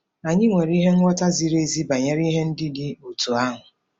Anyị nwere nghọta ziri ezi banyere ihe ndị dị otú ahụ.